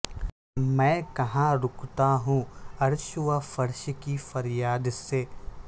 میں کہاں رکتا ہوں عرش و فرش کی فریاد سے